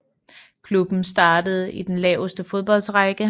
Klubben startede i den laveste fodboldrække